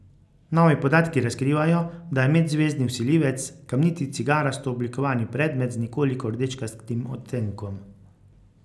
Novi podatki razkrivajo, da je medzvezdni vsiljivec kamniti cigarasto oblikovani predmet z nekoliko rdečkastim odtenkom.